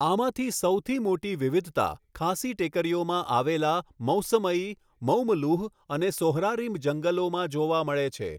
આમાંથી સૌથી મોટી વિવિધતા ખાસી ટેકરીઓમાં આવેલા મૌસમઈ, મૌમલુહ અને સોહરારીમ જંગલોમાં જોવા મળે છે.